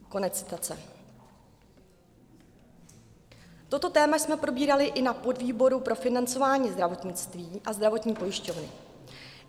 Toto téma jsme probírali i na podvýboru pro financování zdravotnictví a zdravotní pojišťovny.